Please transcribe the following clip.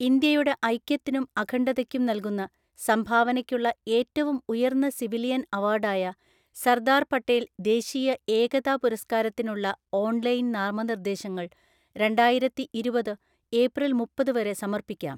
ഇന്ത്യയുടെ ഐക്യത്തിനും അഖണ്ഡതയ്ക്കും നൽകുന്ന സംഭാവനയ്ക്കുള്ള ഏറ്റവും ഉയര്‍ന്ന സിവിലിയന്‍ അവാര്‍ഡായ സർദാര്‍ പട്ടേല്‍ ദേശീയ ഏകതാ പുരസ്കാരത്തിനുള്ള ഓൺലൈന്‍ നാമനിര്‍ദ്ദേശങ്ങള്‍ രണ്ടായിരത്തിഇരുപത് ഏപ്രില്‍ മുപ്പത് വരെ സമർപ്പിക്കാം.